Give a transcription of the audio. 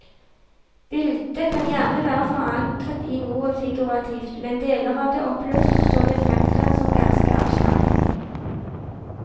Bildet kan gjerne være forankret i noe figurativt, men deler av det oppløses så det fremtrer som ganske abstrakt.